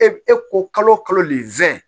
E e ko kalo kalo nin fɛn